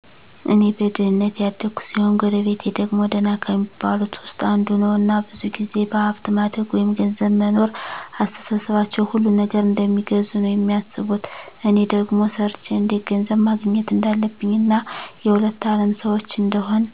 እኔ በድህነት ያደኩ ሲሆን ጎረቤቴ ደግሞ ደህና ከሚባሉት ዉስጥ አንዱ ነዉ እና ብዙ ጊዜ በሀብት ማደግ ወይም ገንዘብ መኖር አስተሳሰባቸዉ ሁሉን ነገር እንደሚገዙ ነዉ የሚያስቡት እኔ ደግሞ ሰርቸ እንዴት ገንዘብ ማግኘት እንዳለብኝ እና የሁለት አለም ሰዎች እንደሆን